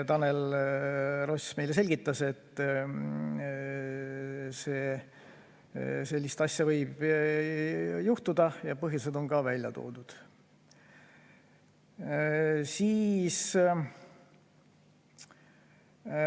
Tanel Ross selgitas, et sellist asja võib juhtuda ja põhjused on ka välja toodud.